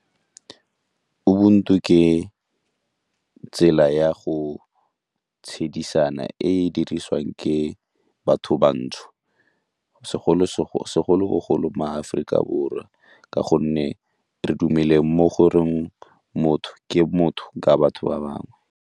Ubuntu ke tsela ya go tshedisana e e dirisiwang ke batho bantsho, segolobogolo mo Aforika Borwa ka gonne re mo goreng motho ke motho ka batho ba bangwe.